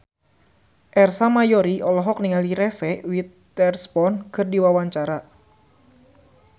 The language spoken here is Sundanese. Ersa Mayori olohok ningali Reese Witherspoon keur diwawancara